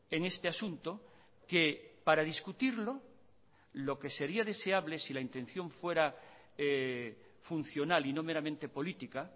en este asunto que para discutirlo lo que sería deseable si la intención fuera funcional y no meramente política